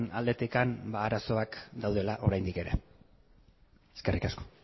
aldetik arazoak daudela oraindik ere eskerrik asko